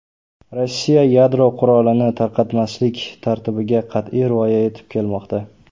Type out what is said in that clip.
Rossiya yadro qurolini tarqatmaslik tartibiga qat’iy rioya etib kelmoqda.